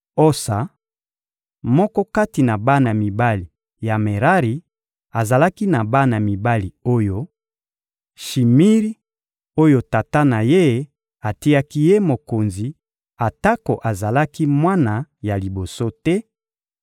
Osa, moko kati na bana mibali ya Merari, azalaki na bana mibali oyo: Shimiri oyo tata na ye atiaki ye mokonzi atako azalaki mwana ya liboso te;